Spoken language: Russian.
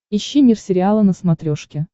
ищи мир сериала на смотрешке